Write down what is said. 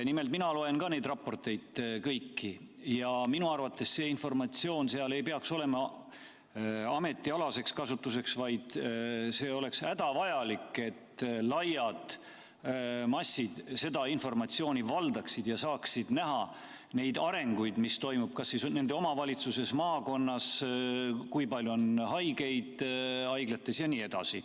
Nimelt, mina loen kõiki neid raporteid ja minu arvates see informatsioon seal ei peaks olema ametialaseks kasutamiseks, vaid see oleks hädavajalik, et laiad massid seda informatsiooni valdaksid ja saaksid näha neid arenguid, mis toimuvad kas siis nende omavalitsuses, maakonnas, kui palju on haigeid haiglates jne.